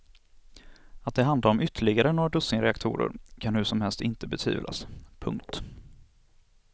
Att det handlar om ytterligare några dussin reaktorer kan hur som helst inte betvivlas. punkt